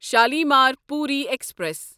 شالیمار پوٗری ایکسپریس